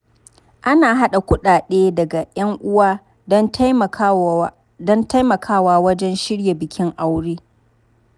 Ana haɗa kuɗaɗe daga ‘yan uwa don taimakawa wajen shirya bikin aure.